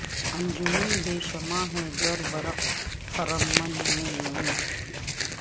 انجمن بے شمع ہے گر برق خرمن میں نہیں